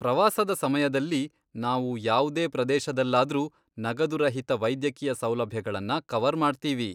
ಪ್ರವಾಸದ ಸಮಯದಲ್ಲಿ ನಾವು ಯಾವ್ದೇ ಪ್ರದೇಶದಲ್ಲಾದ್ರೂ ನಗದು ರಹಿತ ವೈದ್ಯಕೀಯ ಸೌಲಭ್ಯಗಳನ್ನ ಕವರ್ ಮಾಡ್ತೀವಿ.